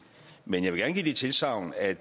men jeg vil gerne give det tilsagn at